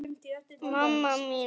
Það gat ekki verið.